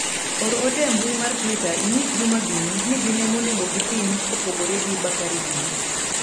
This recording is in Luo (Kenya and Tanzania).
or ote e mbui mar twita inyis Juma gini ni gin ema onego gitim kopogore gi Bakari gini